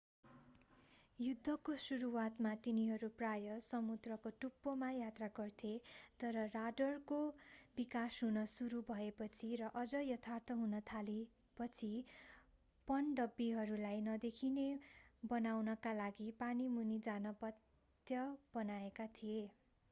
युद्धको सुरुवातमा तिनीहरू प्राय समुद्रको टुप्पोमा यात्रा गर्थे तर राडरको विकास हुन सुरु भएपछि र अझ यथार्थ हुन थालेपछि पनडुब्बीहरूलाई नदेखिने बनाउनका लागि पानी मुनि जान बाध्य बनाइएका थिए